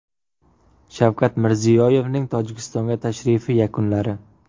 Shavkat Mirziyoyevning Tojikistonga tashrifi yakunlari.